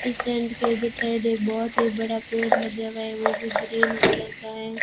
इस टेंट के इधर साइड एक बहुत ही बड़ा पेड़ लगा हुआ है वो भी ग्रीन कलर का है।